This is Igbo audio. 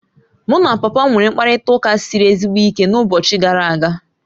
Mụ na papa m nwere mkparịta ụka siri ezigbo ike n'ụbọchị gara a ga